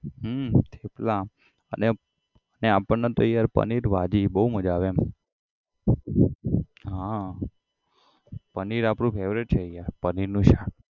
હમ થેપલા અને આપણને તો યાર પનીર ભાજી બહુ મજા આવે એમ હા પનીર આપડું favourite છે પનીરનું શાક